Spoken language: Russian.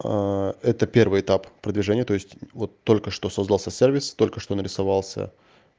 это первый этап продвижения то есть вот только что создался сервис только что нарисовался